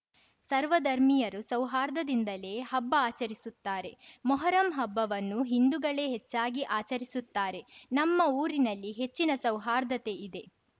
ಸರ್ವಧರ್ಮೀಯರೂ ಸೌಹಾರ್ದದಿಂದಲೇ ಹಬ್ಬ ಆಚರಿಸುತ್ತಾರೆ ಮೊಹರಂ ಹಬ್ಬವನ್ನು ಹಿಂದುಗಳೇ ಹೆಚ್ಚಾಗಿ ಆಚರಿಸುತ್ತಾರೆ ನಮ್ಮ ಊರಿನಲ್ಲಿ ಹೆಚ್ಚಿನ ಸೌಹಾರ್ದತೆ ಇದೆ